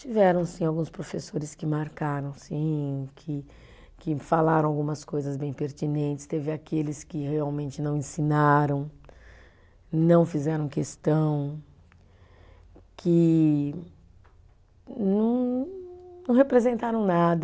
Tiveram sim alguns professores que marcaram sim que, que falaram algumas coisas bem pertinentes, teve aqueles que realmente não ensinaram, não fizeram questão, que não não representaram nada.